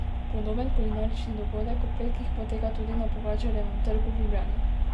Podoben kulinarični dogodek ob petkih poteka tudi na Pogačarjevem trgu v Ljubljani.